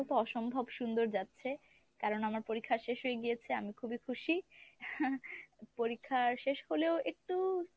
অসম্ভব সুন্দর যাচ্ছে কারণ আমার পরীক্ষা শেষ হয়ে গিয়েছে আমি খুবই খুশি loughing। পরীক্ষা শেষ হলেও একটু